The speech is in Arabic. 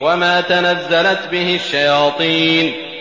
وَمَا تَنَزَّلَتْ بِهِ الشَّيَاطِينُ